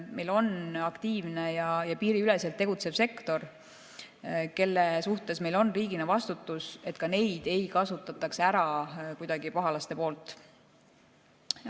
Meil on aktiivne ja piiriüleselt tegutsev sektor, kelle ees meil on riigina vastutus, et ka neid pahalased kuidagi ära ei kasutaks.